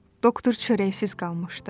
Doktor çörəksiz qalmışdı.